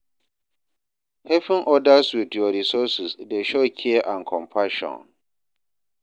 Helping odas with yur resources dey show care and compassion.